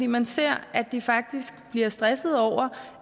man ser at de faktisk bliver stressede over